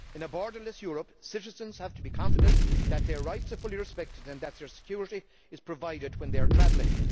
In a borderless Europe, citizens have to be confident that their rights are fully respected and that their security is provided when they are travelling.